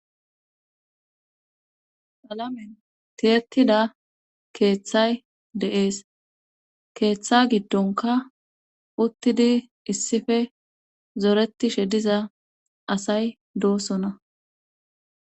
Qalamen tiyetida keeththay deees keeththa giddonka uttidi issippe zoretishe diza asay doosona.